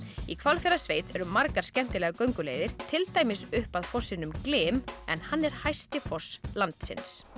í Hvalfjarðarsveit eru margar skemmtilegar gönguleiðir til dæmis upp að fossinum glym en hann er hæsti foss landsins